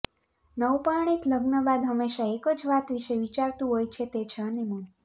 નવપરણિત લગ્ન બાદ હંમેશા એક જ વાત વિષે વિચારતું હોય છે તે છે હનિમુન